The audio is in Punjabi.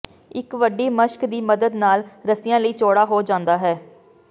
ਇੱਕ ਵੱਡੀ ਮਸ਼ਕ ਦੀ ਮੱਦਦ ਨਾਲ ਰੱਸਿਆਂ ਲਈ ਚੌੜਾ ਹੋ ਜਾਂਦਾ ਹੈ